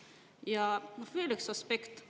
Ja veel üks aspekt.